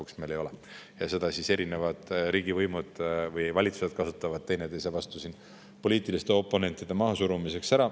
Aga seda kasutavad erinevad riigivõimud või valitsused ära teineteise vastu ja poliitiliste oponentide mahasurumiseks.